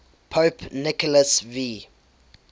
pope nicholas v